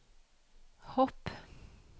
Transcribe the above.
hopp